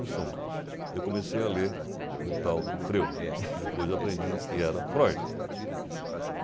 Em suma, eu comecei a ler o tal do Freud, que depois eu aprendi que era Freud.